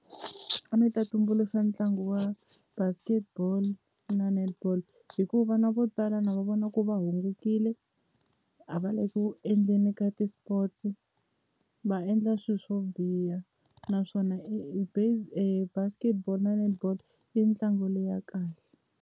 A ni ta tumbuluxa ntlangu wa basketball na netball hi ku vana vo tala na va vona ku va hungukile a va le ku endleni ka ti-sports va endla swi swo biha naswona basketball na netball i ntlangu leya kahle.